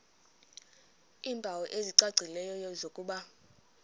iimpawu ezicacileyo zokuba